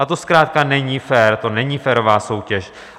A to zkrátka není fér, to není férová soutěž.